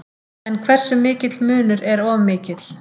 En hversu mikill munur er of mikill?